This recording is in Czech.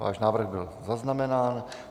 Váš návrh byl zaznamenán.